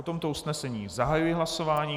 O tomto usnesení zahajuji hlasování.